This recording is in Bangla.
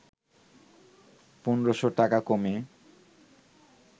১৫শ’ টাকা কমে